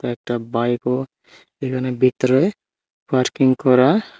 একটা বাইকও এখানে ভিতরে পার্কিং করা।